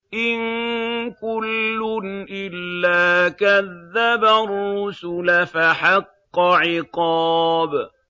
إِن كُلٌّ إِلَّا كَذَّبَ الرُّسُلَ فَحَقَّ عِقَابِ